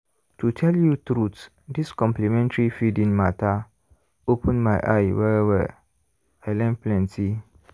to tell you truth this complementary feeding matter open my eye well-well i learn plenty.